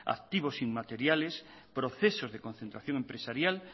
activos inmateriales procesos de concentración empresarial